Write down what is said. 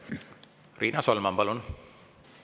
Riina Solman, palun!